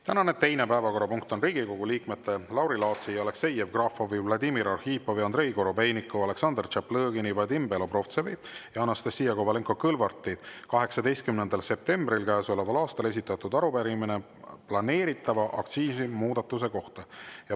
Tänane teine päevakorrapunkt on Riigikogu liikmete Lauri Laatsi, Aleksei Jevgrafovi, Vladimir Arhipovi, Andrei Korobeiniku, Aleksandr Tšaplõgini, Vadim Belobrovtsevi ja Anastassia Kovalenko-Kõlvarti 18. septembril käesoleval aastal esitatud arupärimine planeeritava aktsiisimuudatuse kohta.